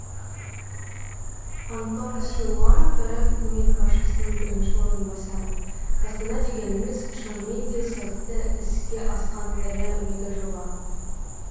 антон силуанов рф үкімет басшысының бірінші орынбасары астана дегеніміз шынымен де сәтті іске асқан ірі мегажоба